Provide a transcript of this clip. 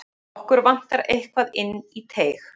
Okkur vantar eitthvað inn í teig.